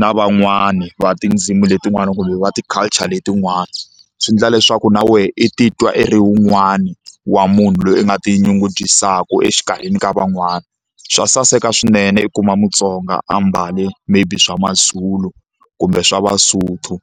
na van'wani va tindzimi letinwana kumbe va ti-culture letin'wana swi endla leswaku na wehe i titwa i ri wun'wani wa munhu loyi u nga tinyungubyisaka exikarhini ka van'wana swa saseka swinene i kuma Mutsonga a mbale maybe swa maZulu kumbe swa maSotho